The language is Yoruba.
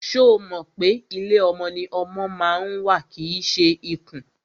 Ṣo mọ̀ pé ilé ọmọ ni ọmọ ma ń wà kìí ṣe ikùn?